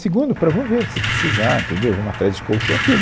Segundo, para vou ver, se precisar, entendeu, vamos atrás de colchão, aquilo